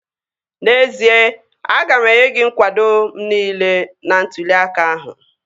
N'ezie, aga m enye gị nkwado m niile n'ntụli aka ahụ